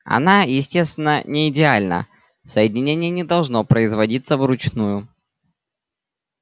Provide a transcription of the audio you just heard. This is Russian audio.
она естественно не идеальна соединение не должно производиться вручную